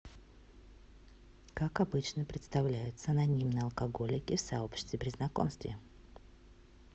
как обычно представляются анонимные алкоголики в сообществе при знакомстве